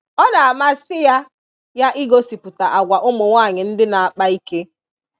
Ọ na-amasị ya ya igosipụta agwa ụmụnwanyị ndị na-akpa ike.